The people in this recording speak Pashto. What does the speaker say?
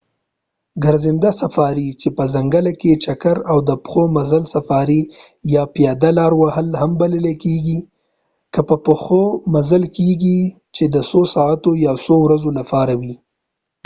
ګرځنده سفاري چې په ځنګله کې چکر"، د پښو مزل سفاري"، یا پیاده لاره وهل هم بلل کیږي کې په پښو مزل کیږي، چې د څو ساعتونو یا څو ورځو لپاره وي